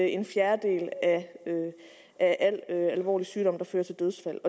en fjerdedel af al alvorlig sygdom der fører til dødsfald